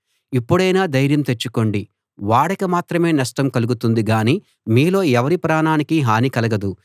ఇప్పుడైనా ధైర్యం తెచ్చుకోండి ఓడకి మాత్రమే నష్టం కలుగుతుందిగానీ మీలో ఎవరి ప్రాణానికీ హాని కలగదు